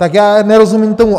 Tak já nerozumím tomu...